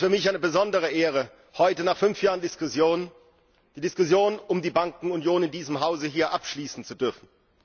Es ist für mich eine besondere Ehre, heute nach fünf Jahren Diskussion die Diskussion um die Bankenunion in diesem Hause hier abschließen zu dürfen.